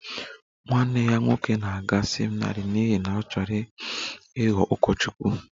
Nwanne ya nwoke na-aga seminarị n'ihi na ọ chọrọ ịghọ ụkọchukwu